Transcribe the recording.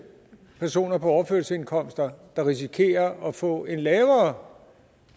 personer på overførselsindkomst der risikerer at få en lavere